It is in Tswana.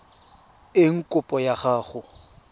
eng kopo ya gago e